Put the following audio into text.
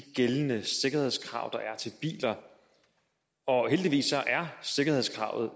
gældende sikkerhedskrav der er til biler og heldigvis er sikkerhedskravene